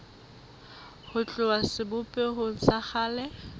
ho tloha sebopehong sa kgale